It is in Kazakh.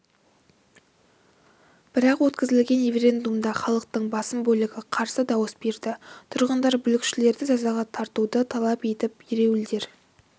бірақ өткізілген референдумда халықтың басым бөлігі қарсы дауыс берді тұрғындар бүлікшілерді жазаға тартуды талап етіп ереуілдер